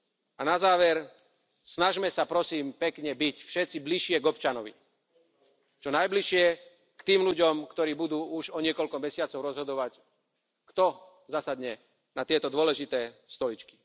A na záver snažme sa, prosím, pekne byť všetci bližšie k občanovi, čo najbližšie k tým ľuďom, ktorí budú už o niekoľko mesiacov rozhodovať, kto zasadne na tieto dôležité stoličky.